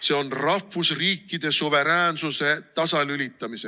See on rahvusriikide suveräänsuse tasalülitamise ...